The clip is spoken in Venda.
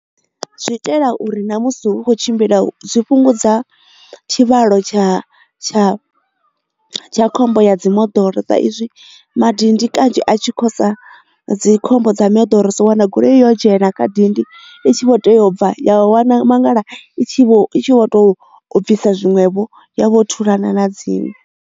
Zwi itela uri na musi hu kho tshimbila zwi fhungudza tshivhalo tsha tsha tsha khombo ya dzi moḓoro sa izwi madindi kanzhi a tshi khosa dzi khombo dza mimoḓoro so wana goloi yo dzhena kha dindi i tshi vho teya ubva ya wana mangala i tshi vho to bvisa zwiṅwevho ya vho thulana na dzine.